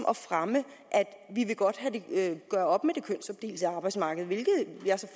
at fremme at vi godt vil gøre op med det kønsopdelte arbejdsmarked hvilket jeg